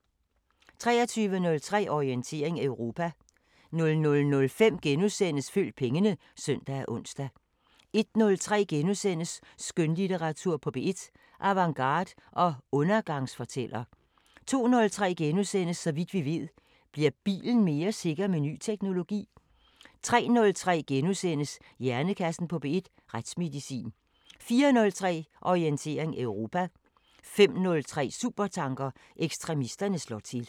23:03: Orientering Europa 00:05: Følg pengene *(søn og ons) 01:03: Skønlitteratur på P1: Avantgarde og undergangsfortæller * 02:03: Så vidt vi ved: Bliver bilen mere sikker med ny teknologi? * 03:03: Hjernekassen på P1: Retsmedicin * 04:03: Orientering Europa 05:03: Supertanker: Ekstremisterne slår til